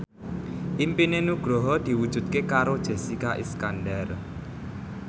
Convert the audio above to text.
impine Nugroho diwujudke karo Jessica Iskandar